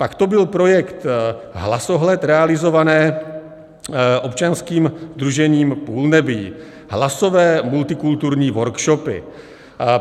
Pak to byl projekt Hlasohled, realizovaný občanským sdružením Půlnebí, hlasové multikulturní workshopy.